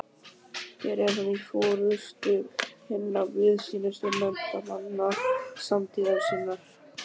Hér er hann í forustu hinna víðsýnustu menntamanna samtíðar sinnar.